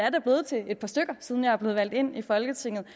sådan er meget enkelt for